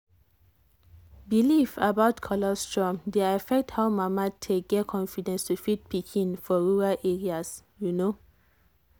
belief about colostrum dey affect how mama take get confidence to feed pikin for rural areas. you know.